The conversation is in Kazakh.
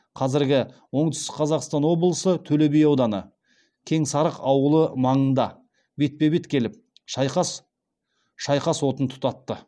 қазіргі оңтүстік қазақстан облысы төлеби ауданы кеңсарық ауылы маңында бетпе бет келіп шайқас отын тұтатты